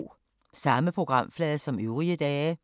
Samme programflade som øvrige dage